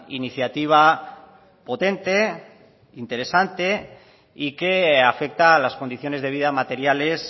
iniciativa potente interesante y que afecta a las condiciones de vida materiales